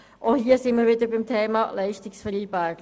Auch hier sind wir wieder beim Thema Leistungsvereinbarung.